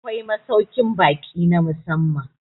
Akwai masaukin baki na musamman